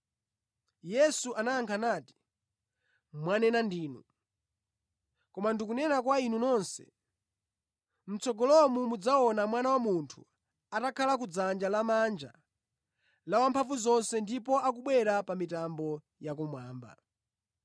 Yesu anayankha nati, “Mwanena ndinu. Koma ndikunena kwa inu nonse: mʼtsogolomo mudzaona Mwana wa Munthu atakhala kudzanja lamanja la Wamphamvuzonse ndipo akubwera ndi mitambo ya kumwamba.”